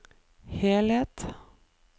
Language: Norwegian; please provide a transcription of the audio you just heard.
helhet